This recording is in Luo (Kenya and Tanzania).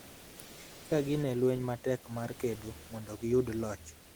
ka gin e lweny matek mar kedo mondo giyud loch